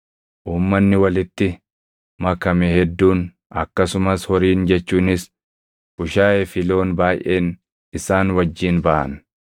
Uummanni walitti makame hedduun, akkasumas horiin jechuunis bushaayee fi loon baayʼeen isaan wajjin baʼan.